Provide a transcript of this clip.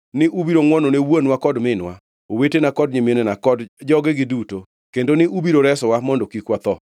ni ubiro ngʼwonone wuonwa kod minwa, owetena kod nyiminena, kod jogegi duto, kendo ni ubiro resowa mondo kik watho.”